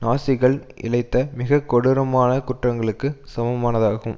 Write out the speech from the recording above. நாசிகள் இழைத்த மிக கொடூரமான குற்றங்களுக்கு சமமானதாகும்